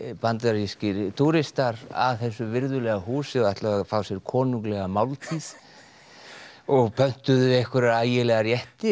bandarískir túristar að þessu virðulega húsi og ætluðu að fá sér konunglega máltíð og pöntuðu einhverja ægilega rétti